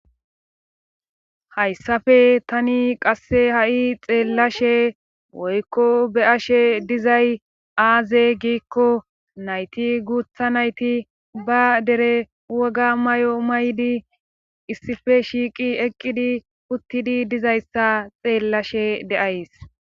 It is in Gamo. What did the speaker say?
hayssafe tani qasse ha7i xeellashe woykko be ashe dizay aaze giikko nayti guutha nayti ba dere woga may7o maydi issife shiiqi eqqidi uttidi dizayssa xeellashe deays